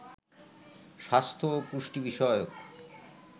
স্বাস্থ্য ও পুষ্টি বিষয়ক